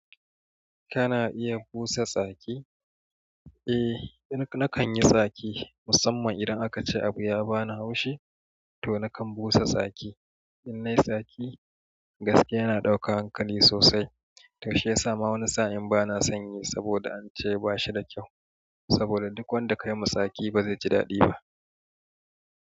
Kana iya busa tsaki, eh nakan yi tsaki musamman idan akace abu ya bani haushi toh nakan busa tsaki. In na yi tsaki gaskiya yana ɗauka hankali sosai tau shiyasa ma wani sa'in bana son yi saboda an ce bashi da kyau saboda duk wanda kayima saki ba zai ji daɗi ba.